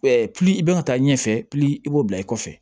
i bɛ ka taa ɲɛfɛ i b'o bila i kɔfɛ